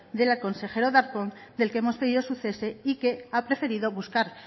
del consejero darpón del que hemos pedido su cese y que ha preferido buscar